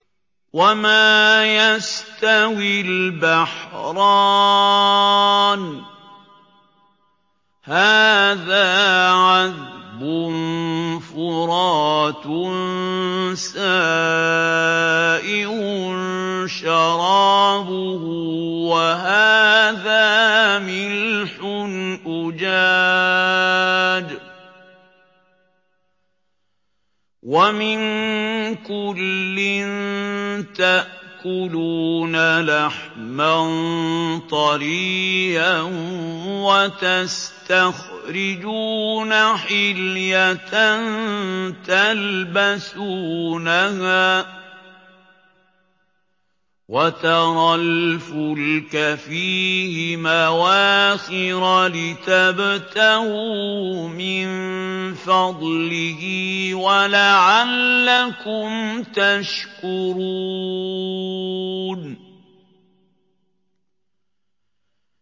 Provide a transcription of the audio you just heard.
وَمَا يَسْتَوِي الْبَحْرَانِ هَٰذَا عَذْبٌ فُرَاتٌ سَائِغٌ شَرَابُهُ وَهَٰذَا مِلْحٌ أُجَاجٌ ۖ وَمِن كُلٍّ تَأْكُلُونَ لَحْمًا طَرِيًّا وَتَسْتَخْرِجُونَ حِلْيَةً تَلْبَسُونَهَا ۖ وَتَرَى الْفُلْكَ فِيهِ مَوَاخِرَ لِتَبْتَغُوا مِن فَضْلِهِ وَلَعَلَّكُمْ تَشْكُرُونَ